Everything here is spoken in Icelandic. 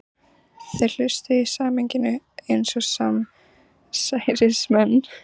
Þeir hlustuðu í sameiningu eins og samsærismenn.